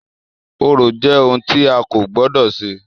Orò jẹ́ ohun tì a kò gbọdọ̀ ṣe.